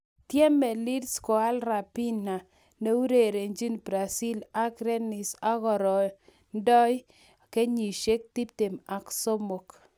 Tiemei Leeds koal Raphinha neurerenjin Brazil ak Rennes akorindoi kenyisiek tiptem ak somok